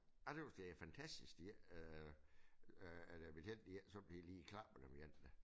Jeg tøs det er fantastisk de ikke øh øh at øh betjentene de ikke de sådan lige klapper dem en da